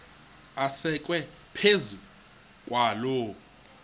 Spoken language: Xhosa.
asekwe phezu kwaloo